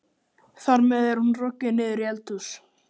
Þar með er hún rokin niður í eldhús.